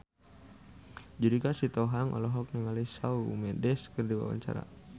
Judika Sitohang olohok ningali Shawn Mendes keur diwawancara